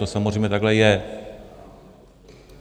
To samozřejmě takhle je.